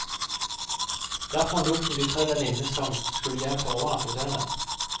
Der forlot hun de tre venninnene som skulle hjem for å overnatte hos en av dem.